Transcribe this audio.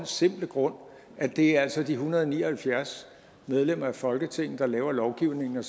simple grund at det altså er de en hundrede og ni og halvfjerds medlemmer af folketinget der laver lovgivningen